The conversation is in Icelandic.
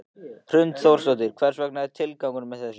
Hrund Þórsdóttir: Hver er svona tilgangur með þessu?